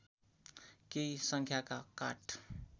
केही सङ्ख्याका काठ